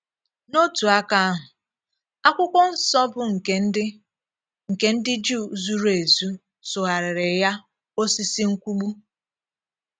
N’òtù aka ahụ, akwụkwọ nsọ bụ́ nke ndi nke ndi Jew zùrù ézù sụgharịrị ya “òsìsì nkwụgbù. ”